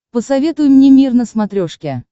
посоветуй мне мир на смотрешке